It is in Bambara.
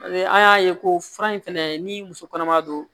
An y'a ye ko fura in fɛnɛ ni muso kɔnɔma don